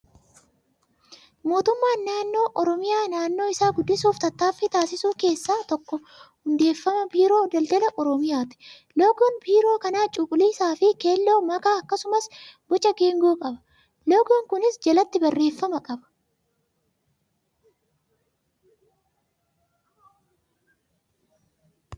Mootummaan naannoo oromiyaa naannoo isaa guddisuuf tattaaffii taasisu keessaa tokko hundeeffama biiroo daldala oromiyaati. Loogoon biiroo kanaa cuquliisaa fi keelloo makaa akkasumas boca geengoo qaba. Loogoon kunis jalatti barreeffama qaba.